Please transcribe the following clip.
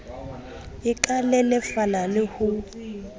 e ka lelefala le ho